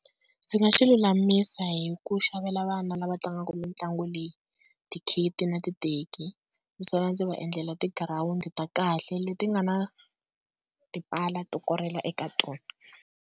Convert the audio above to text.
Ndzi nga swi lulamisa hi ku xavela vana lava tlangaka mitlangu leyi, ti-kit na titeki, naswona ndzi va endlela tigirawundi ta kahle leti nga na tipala to korhela eka tona.